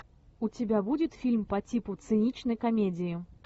у тебя будет фильм по типу циничной комедии